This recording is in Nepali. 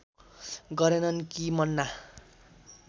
गरेनन् कि मन्ना